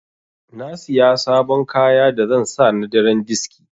Na Siya sabon kaya da zan sa na daren diski.